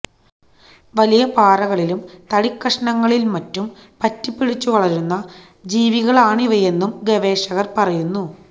വലിയ പാറകളിലും തടിക്കഷണങ്ങളിലും മറ്റും പറ്റിപ്പിടിച്ചു വളരുന്ന ജീവികളാണിവയെന്നും ഗവേഷകർ പറയുന്നു